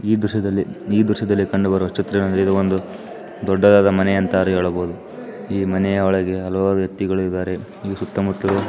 ಈ ದೃಶ್ಯದಲ್ಲಿ ಈ ದೃಶ್ಯದಲ್ಲಿ ಕಂಡುಬರುವ ಚಿತ್ರವೇನೆಂದರೆ ಇದು ಒಂದು ದೊಡ್ಡದಾದ ಮನೆ ಅಂತಾನೆ ಹೇಳಬಹುದು ಈ ಮನೆಯ ಒಳಗೆ ಹಲವಾರು ವ್ಯಕ್ತಿಗಳು ಇದ್ದಾರೆ ಈ ಸುತ್ತಮುತ್ತಲೂ --